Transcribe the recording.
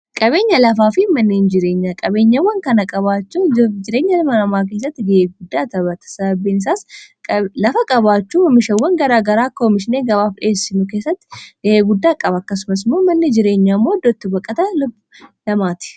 qabeenya lafaa fi manneen jireenya qabeenyawwan kana qabaachuu jireenya lma namaa keessatti ga'eguddaa tabatasababeinisaas lafa qabaachuu mishawwan garaagaraa koomishnee gabaaf dheessinu keessatti ga'eguddaa qaba akkasumasmoo manni jireenyaammoo ddootti baqata lub2ti